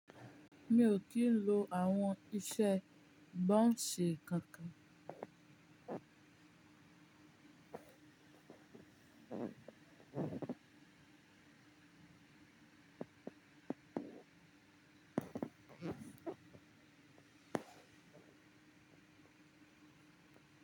Mi o kìí lo àwon isé bounce kankan.